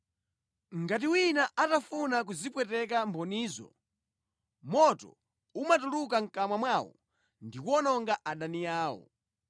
Ngati wina atafuna kuzipweteka mbonizo, moto umatuluka mʼkamwa mwawo ndikuwononga adani awo.